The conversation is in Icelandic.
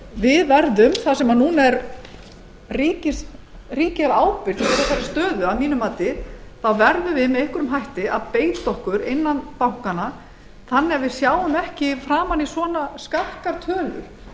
við verðum þar sem ríkið er ábyrgt í þessari stöðu að mínu mati þá verðum við með einhverjum hætti að beita okkur innan bankanna þannig að við sjáum ekki framan í svona skakkar tölur það